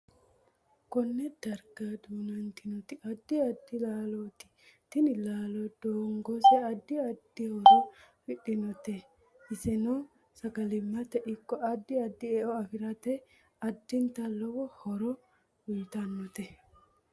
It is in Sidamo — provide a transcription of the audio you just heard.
Konne darga duunantinoti addi adddi laalooti tini laalo giddose addi addi horo afidhinite iseno sagalimate ikko addi addi e'o afiratte addinta lowo horo uyiitanote